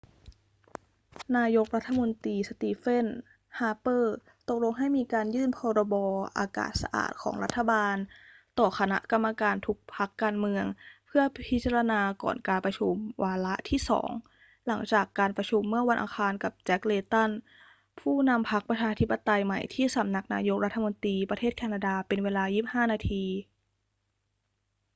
นายกรัฐมนตรีสตีเฟน ฮาร์เปอร์ ตกลงให้มีการยื่น 'พรบ.อากาศสะอาด' ของรัฐบาลต่อคณะกรรมการทุกพรรคการเมืองเพื่อพิจารณา ก่อนการประชุมวาระที่สอง หลังจากการประชุมเมื่อวันอังคารกับ แจ็ค เลย์ตัน ผู้นำพรรคประชาธิปไตยใหม่ที่สำนักนายกรัฐมนตรี ประเทศแคนาดา เป็นเวลา 25 นาที